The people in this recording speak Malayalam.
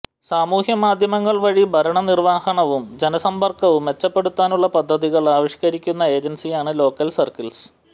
സാമൂഹ്യമാധ്യമങ്ങൾവഴി ഭരണനിർവഹണവും ജനസമ്പർക്കവും മെച്ചപ്പെടുത്താനുള്ള പദ്ധതികൾ ആവിഷ്കരിക്കുന്ന ഏജൻസിയാണ് ലോക്കൽ സർക്കിൾസ്